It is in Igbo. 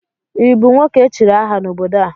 ị bụ nwoke echiri aha n'obodo a?